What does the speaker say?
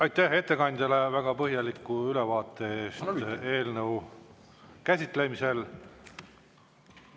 Aitäh ettekandjale väga põhjaliku ülevaate eest eelnõu käsitlemisel!